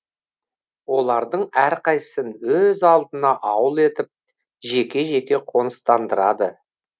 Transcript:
олардың әрқайсысын өз алдына ауыл етіп жеке жеке қоныстандырады